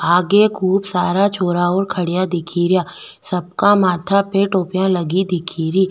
आगे खूब सारा छोरा ओर खड़िया दिखे रिया सबका माथा पे टोपिया लगी दिखे री।